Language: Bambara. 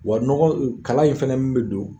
Wa nɔgɔ kala in fɛnɛ min bɛ don